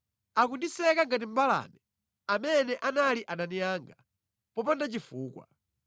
Akundisaka ngati mbalame, amene anali adani anga, popanda chifukwa.